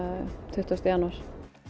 tuttugasta janúar